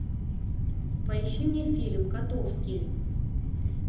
поищи мне фильм котовский